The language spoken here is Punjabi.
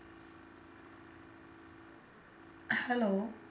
Hello